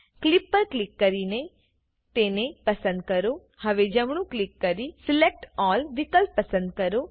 clip પર click કરી તેને પસંદ કરોહવે જમણું ક્લિક કરી સિલેક્ટ ALLવિકલ્પ પસંદ કરો